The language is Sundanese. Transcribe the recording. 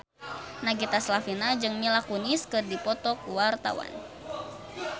Nagita Slavina jeung Mila Kunis keur dipoto ku wartawan